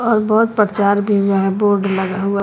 और बहुत प्रचार भी यह बोर्ड लगा हुआ--